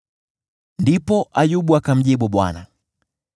Ndipo Ayubu akamjibu Bwana :